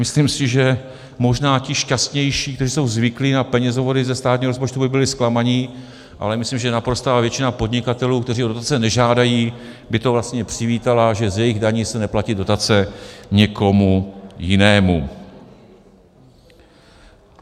Myslím si, že možná ti šťastnější, kteří jsou zvyklí na penězovody ze státního rozpočtu, by byli zklamaní, ale myslím, že naprostá většina podnikatelů, kteří o dotace nežádají, by to vlastně přivítala, že z jejich daní se neplatí dotace nikomu jinému.